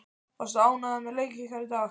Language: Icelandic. Varstu ánægður með leik ykkar í dag?